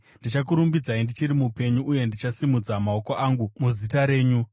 Ndichakurumbidzai ndichiri mupenyu, uye ndichasimudza maoko angu muzita renyu.